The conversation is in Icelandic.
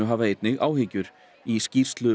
hafa einnig áhyggjur í skýrslu